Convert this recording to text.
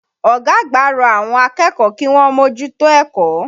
Ọ̀gá àgbà rọ àwọn akẹ́kọ̀ọ́ kíwọ́n mójútó ẹ̀kọ́.